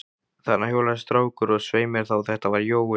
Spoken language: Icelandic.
Þarna hjólaði strákur, og svei mér þá, þetta var Jói.